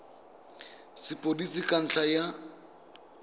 ya sepodisi ka ntlha ya